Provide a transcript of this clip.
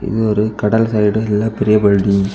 இது ஒரு கடல் சைடு இல்ல பெரிய பில்டிங் .